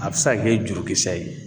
A bɛ se ka kɛ jurukisɛ ye